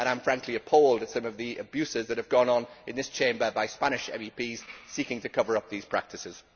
I am, frankly, appalled at some of the abuses that have gone on in this Chamber by Spanish MEPs seeking to cover up these practices.